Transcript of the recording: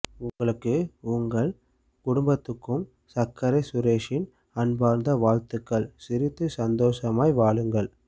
உங்களுக்கு உங்கள் குடும்பத்துக்கும் சக்கரை சுரேஷின் அன்பார்ந்த வாழ்த்துகள் சிரித்து சந்தோசமாய் வாழுங்கள்